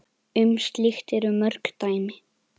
Um slíkt eru mörg dæmi.